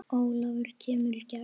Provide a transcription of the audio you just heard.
Ólafur kemur í gegn.